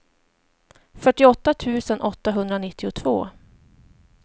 fyrtioåtta tusen åttahundranittiotvå